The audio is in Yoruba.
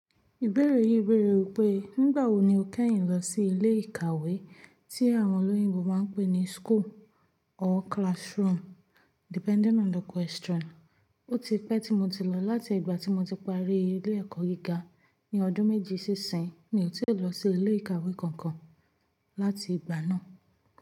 Ìbéèrè yìí bèèrè wípé, nígbà wo ni o kẹ́yìn lọ sí ilé ìkàwé tí àwọn olóyìnbo má ń pè ní school or classroom depending on the question? Ó ti pẹ́ tí mo ti lọ, láti ìgbà tí mo ti parí ilé ẹ̀kọ́ gíga ní ọdún méjì síìsìn, mi ò tíì lọ sí ilé ìkàwé kankan láti ìgbà náà.